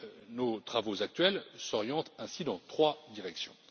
Nos travaux actuels s'orientent ainsi dans trois directions.